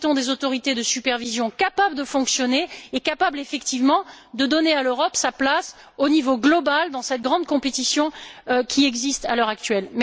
Nous souhaitons des autorités de supervision capables de fonctionner et de donner effectivement à l'Europe sa place, au niveau global, dans cette grande compétition qui existe à l'heure actuelle.